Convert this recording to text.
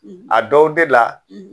A dɔw de la